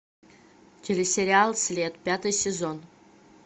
телесериал след пятый сезон